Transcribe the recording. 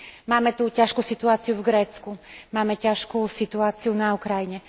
Máme tu ťažkú situáciu v Grécku, máme ťažkú situáciu na Ukrajine.